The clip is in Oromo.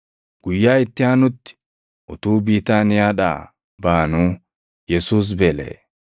Guyyaa itti aanutti utuu Biitaaniyaadhaa baʼanuu Yesuus beelaʼe.